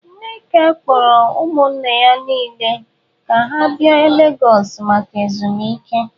Nneka kpọrọ ụmụnne ya nwanyị niile ka ha bịa legọs maka ezumike.